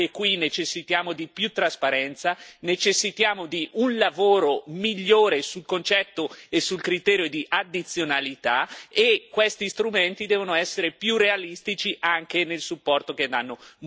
Anche qui necessitiamo di più trasparenza, necessitiamo di un lavoro migliore sul concetto e sul criterio di addizionalità, e questi strumenti devono essere più realistici anche nel supporto che danno.